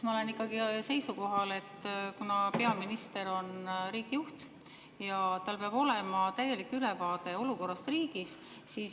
Ma olen ikkagi seisukohal, et peaminister on riigi juht ja tal peab olema täielik ülevaade olukorrast riigis.